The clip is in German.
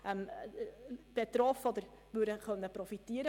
Diese könnte von einem Lastenausgleich profitieren.